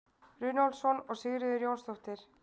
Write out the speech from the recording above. runólfsson og sigríður jónsdóttir